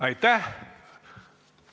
Aitäh!